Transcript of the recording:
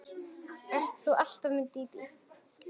Ert þú alltaf með Dídí?